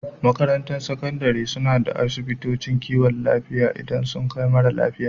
Makarantun Sakandare suna da asibitocin kiwon lafiya idan sun kai marasa lafiya.